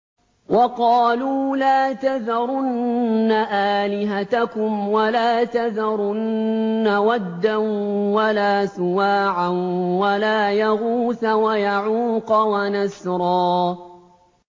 وَقَالُوا لَا تَذَرُنَّ آلِهَتَكُمْ وَلَا تَذَرُنَّ وَدًّا وَلَا سُوَاعًا وَلَا يَغُوثَ وَيَعُوقَ وَنَسْرًا